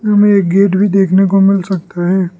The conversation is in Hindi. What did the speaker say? हमें गेट भी देखने को मिल सकता है।